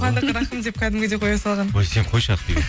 қуандық рахым деп кәдімгідей қоя салған ой сен қойшы ақбибі